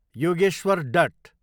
Yogeshwar dot